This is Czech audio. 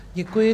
Děkuji.